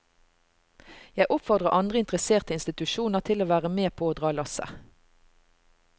Jeg oppfordrer andre interesserte institusjoner til å være med på å dra lasset.